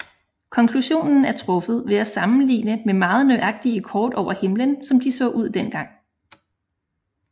Konklusionen er truffet ved at sammenligne med meget nøjagtige kort over himlen som de så ud dengang